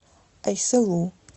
айсылу